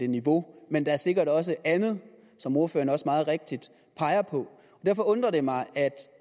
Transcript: niveau men der er sikkert også andet som ordføreren også meget rigtigt peger på derfor undrer det mig